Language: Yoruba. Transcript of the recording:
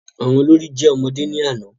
Àwọn olórí jẹ́ ọmọdé ní àná